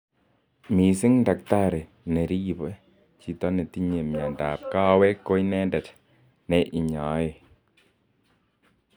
Missing' daktari neripo chito netinye miando ap kawek ko iendet �ne inyai .